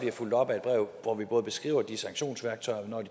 fulgt op af et brev hvor vi både beskriver de sanktionsværktøjer